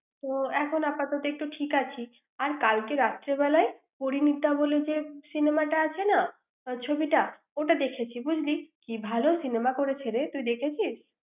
এখন আপাতত ঠিক আছি কালকে রাতে বেলায় পরিণীতা বলে যে cinema আছে না ছবিটা ওটা দেখেছি বুঝলি কি ভালো cinema করেছে রে এটা তুই দেখেছিস ৷